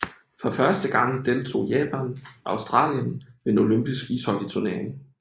For første gang deltog Japan og Australien ved en olympisk ishockeyturnering